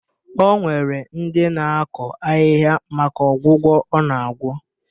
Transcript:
O nwere ndị na-akọ ahịhịa maka ọgwụgwọ ọ na-agwọ